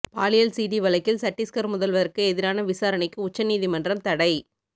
பாலியல் சிடி வழக்கில் சட்டீஸ்கர் முதல்வருக்கு எதிரான விசாரணைக்கு உச்ச நீதிமன்றம் தடை